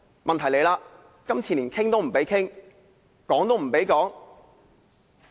問題是，今次連討論也不准。